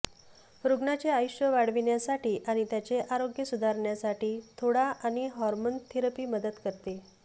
रुग्णाचे आयुष्य वाढविण्यासाठी आणि त्याचे आरोग्य सुधारण्यासाठी थोडा आणि हार्मोन थेरपी मदत करते